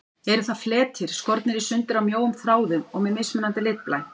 Eru það fletir, skornir í sundur af mjóum þráðum og með mismunandi litblæ.